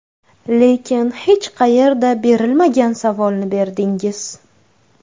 Lekin hech qayerda berilmagan savolni berdingiz.